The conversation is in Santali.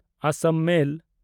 ᱟᱥᱟᱢ ᱢᱮᱞ